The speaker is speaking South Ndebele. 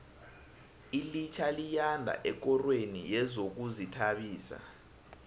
ilitjha liyanda ekorweni yezokuzithabisa